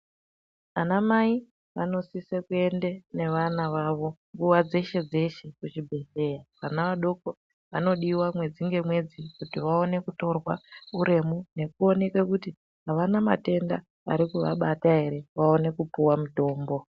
Anamai vanosise kuende nevana vavo nguva dzeshe-dzeshe kuzvibhedhleya. Vana vadoko vanodiva mwedzi ngemwedzi kuti vaone kutorwa uremu nekuonekwe kuti havana matenda arikuvabata ere, vaone kupuva mutombo.